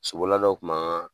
Sobolila dɔ tun b'an ka